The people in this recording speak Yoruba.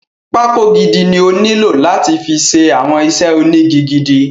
Pákó gidi ni ó nílò láti fi ṣe àwọn iṣẹ́ ónigi gidi.